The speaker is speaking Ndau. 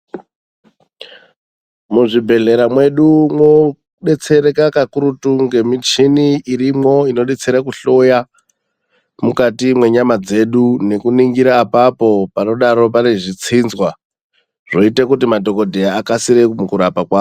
Muzvibhehlera mwedu mwodetsereka kakurutu ngemichini irimwo inodetsere kuhloya mukati mwenyama dzedu nekuningira apapo panodaro pane zvitsinzwa zvoite kuti madhokodheya akasire mukurapa kwawo.